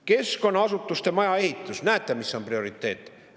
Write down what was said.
Keskkonnaasutuste maja ehitus – näete, mis on prioriteet!